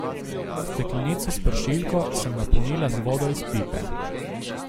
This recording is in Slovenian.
Steklenico s pršilko sem napolnila z vodo iz pipe.